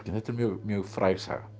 þetta er mjög mjög fræg saga